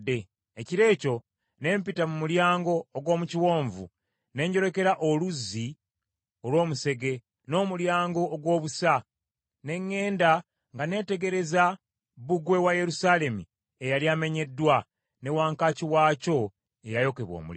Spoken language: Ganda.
Ekiro ekyo ne mpita mu Mulyango ogw’omu Kiwonvu ne njolekera Oluzzi olw’Omusege, n’Omulyango ogw’Obusa, ne ŋŋenda nga neetegereza bbugwe wa Yerusaalemi eyali amenyeddwa, ne wankaaki waakyo eyayokebwa omuliro.